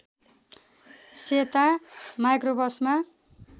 सेता माइक्रोबसमा